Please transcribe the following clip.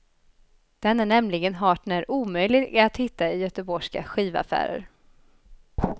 Den är nämligen hart när omöjlig att hitta i göteborgska skivaffärer.